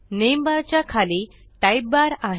name bar च्या खाली type bar आहे